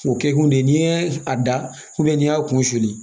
O kɛkun de ye n'i ye a da n'i y'a kun suli